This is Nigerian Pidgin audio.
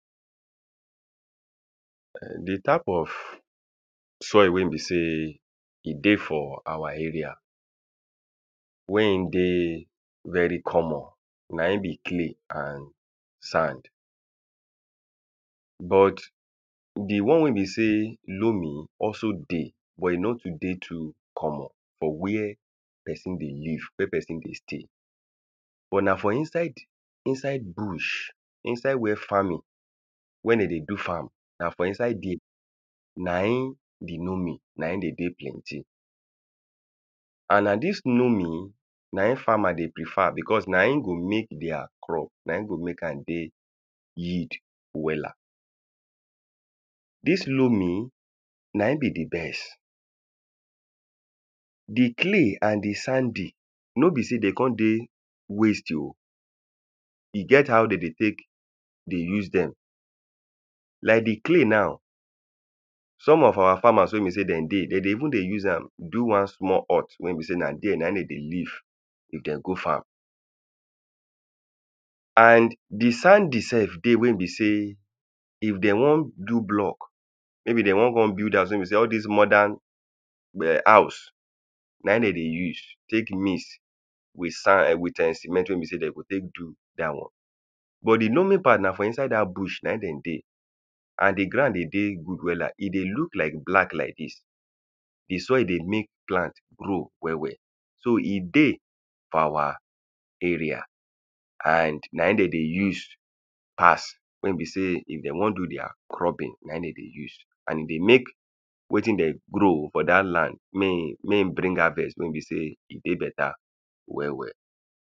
um the type of soil wey be sey e dey for our area. When e dey very common na im be clay and sand. But the one wey be sey loamy also dey but e no too dey too common for where person dey live. Where person dey stay. But na for inside inside bush. Inside where farming when de dey do farm. Na for inside dere na im the loamy, na im de dey plenty. And na dis loamy na im farmer dey prefer because na im go make dere crop na im go make am dey yield wella. Dis loamy na im be the best. The clay and the sandy, no be sey dey con dey waste oh. E get how de dey take dey use dem. Like the clay now some of our farmer wey be sey dem dey. De dey even dey use am do one small hut wey be sey na dere na im de dey live if de go farm. And the sandy self dey wey be sey if de wan do block maybe de wan con build house wey be sey all dis modern house na im de dey use take mix with sand with erm cement wey be sey de go take do dat one. But the loamy part na for inside dat bush na im de dey. And the ground dey dey good wella. E dey look like black like dis. The soil dey make plant grow well well. So e dey for our area and na im dem dey use pass. Wey e be sey if dem wan do dere cropping na im de dey use. And e dey make wetin de grow for dat land mey e mey e bring out harvest wey be sey e dey better well well.